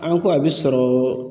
An ko a bɛ sɔrɔ